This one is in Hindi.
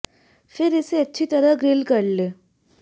फिर इसे अच्छी तरह से ग्रिल्ल कर लें